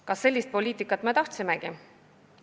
Kas me sellist poliitikat tahtsimegi?